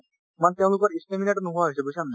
মানে তেওঁলোকৰ নোহোৱা হৈছে বুজিছা নে নাই।